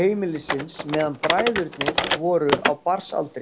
heimilisins meðan bræðurnir voru á barnsaldri.